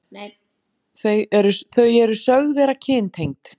Þau eru sögð vera kyntengd.